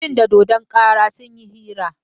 Mutum da dodon kara sun yi hira.